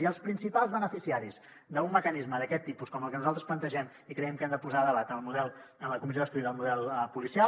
i els principals beneficiaris d’un mecanisme d’aquest tipus com el que nosaltres plantegem i que creiem que hem de posar a debat a la comissió d’estudi del model policial